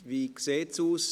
Wie sieht es aus?